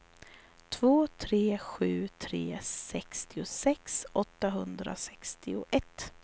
två tre sju tre sextiosex åttahundrasextioett